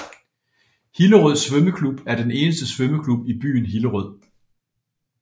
Hillerød Svømmeklub er den eneste svømmeklub i byen Hillerød